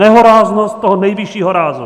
Nehoráznost toho nejvyššího rázu.